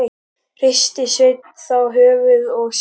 Hristi Sveinn þá höfuðið og sagði